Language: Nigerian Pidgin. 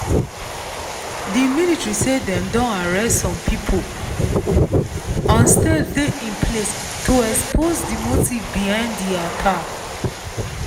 di military say dem don arrest some pipo and steps dey in place to expose di motive behind di attack.